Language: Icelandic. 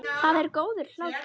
Það er góður hlátur.